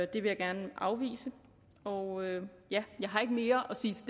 det vil jeg gerne afvise og ja jeg har ikke mere at sige til